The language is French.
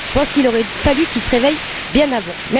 Je pense qu'il aurait fallu qu'il se réveille bien avant.